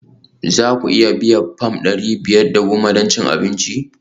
Za ku iya biyan fam ɗari biyar da goma don cin abinci?